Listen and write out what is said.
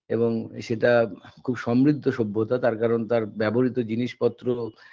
এবং সেটা খুব সমৃদ্ধ সভ্যতা তার কারণ তার ব্যবহৃত জিনিসপত্র